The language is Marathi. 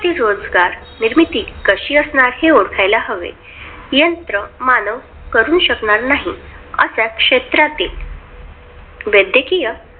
ती रोजगार निर्मिती कशी असणार? हे ओळखायला हवे. यंत्रमानव करु शकणार नाही, अशा क्षेत्रातील वैद्यकीय